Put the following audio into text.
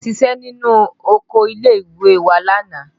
A ṣiṣẹ́ nínú oko ilé ìwé wa lánàá